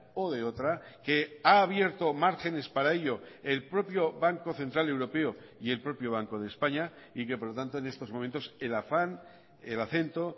o de otra que ha abierto márgenes para ello el propio banco central europeo y el propio banco de españa y que por lo tanto en estos momentos el afán el acento